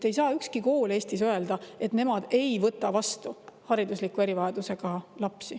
Ei saa ükski kool Eestis öelda, et nemad ei võta vastu haridusliku erivajadusega lapsi.